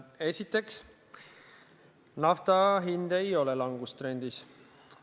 Esiteks, nafta hind ei ole langustrendis.